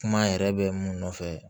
Kuma yɛrɛ bɛ mun nɔfɛ